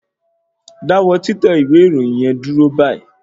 Dáwọ́ títẹ ìwé ìròyìn yẹn dúró báyìí